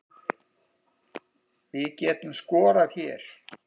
Við getum skorað hérna